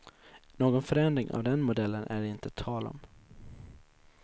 Någon förändring av den modellen är det inte tal om.